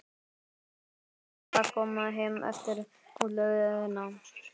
En hvernig var að koma heim eftir útlegðina?